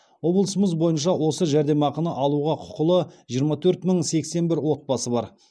облысымыз бойынша осы жәрдемақыны алуға құқылы жиырма төрт мың сексен бір отбасы бар